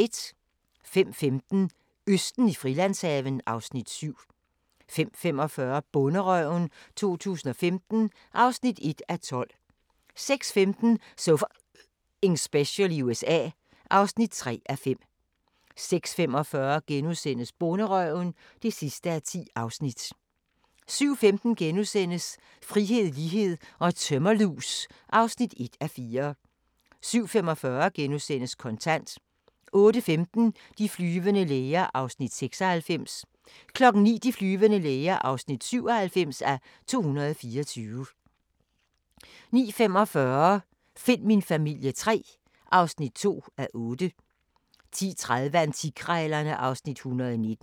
05:15: Østen i Frilandshaven (Afs. 7) 05:45: Bonderøven 2015 (1:12) 06:15: So F***ing Special i USA (3:5) 06:45: Bonderøven (10:10)* 07:15: Frihed, lighed & tømmerlus (1:4)* 07:45: Kontant * 08:15: De flyvende læger (96:224) 09:00: De flyvende læger (97:224) 09:45: Find min familie III (2:8) 10:30: Antikkrejlerne (Afs. 119)